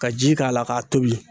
Ka ji k'a la , k'a tobi.